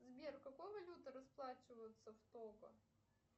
сбер какой валютой расплачиваются в того